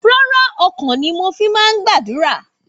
Rárá, ọkàn ni mo fi máa ń gbàdúrà.